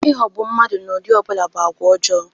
Ịghọgbụ mmadụ n'ụdị ọ bụla bụ agwa ọjọọ.